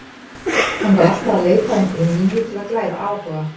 Hann var alltaf að leita að einhverju nýju til að glæða áhuga.